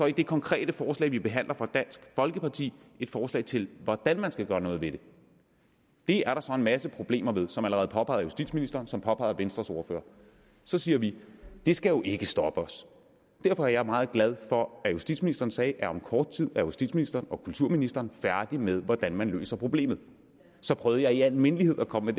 det konkrete forslag vi behandler fra dansk folkeparti et forslag til hvordan man skal gøre noget ved det det er der så en masse problemer ved som allerede påpeget af justitsministeren og som påpeget af venstres ordfører så siger vi det skal jo ikke stoppe os derfor er jeg meget glad for at justitsministeren sagde at om kort tid er justitsministeren og kulturministeren færdige med hvordan man løser problemet så prøvede jeg i al mindelighed at komme